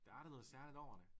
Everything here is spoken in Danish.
Der er da noget særligt over det